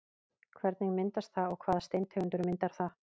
Hvernig myndast það og hvaða steintegund myndar það?